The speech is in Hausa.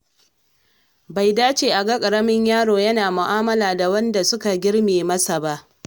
Bai dace a ga ƙaramin yaro yana mu'amala da waɗanda suka girme masa ba.